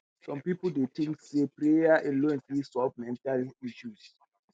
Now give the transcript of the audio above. some people dey think say prayer alone fit solve mental health issues.